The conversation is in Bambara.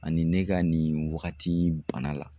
Ani ne ka nin wagati in bana la.